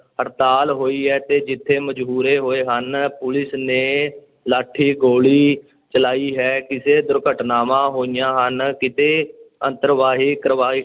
ਹੜਤਾਲ ਹੋਈ ਹੈ ਤੇ ਕਿੱਥੇ ਮੁਜ਼ਾਹਰੇ ਹੋਏ ਹਨ, ਪੁਲਿਸ ਨੇ ਲਾਠੀ-ਗੋਲੀ ਚਲਾਈ ਹੈ, ਕਿਸੇ ਦੁਰਘਟਨਾਵਾਂ ਹੋਈਆਂ ਹਨ, ਕਿਤੇ